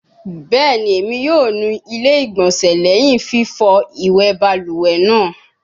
Bẹẹni, Emi yoo nu ile igbonse lẹhin fifọ iwẹ baluwe naa